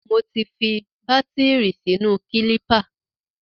Mo ti fi bátìrì sínú kílípà.